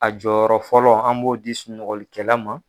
A jɔyɔrɔ fɔlɔ an b'o di sunɔgɔlikɛla ma